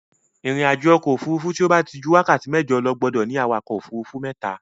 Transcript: Ìrìnàjò òfuurufú tí ó bá ti ju wákàtí mẹ́jọ lọ gbúdọ̀ ní awakọ̀ òfuurufú mẹ́ta